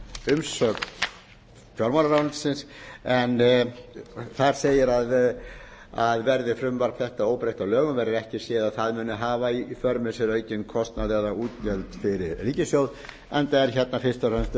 kostnaðarumsögn fjármálaráðuneytisins en þar segir að verði frumvarp þetta óbreytt að lögum verði ekki séð að það muni hafa í för með sér aukinn kostnað eða útgjöld fyrir ríkissjóð enda er hérna fyrst og fremst